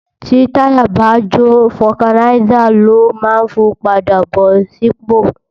Ti tàyá bá jó fògánisá ló mán fún pàdá bó sipó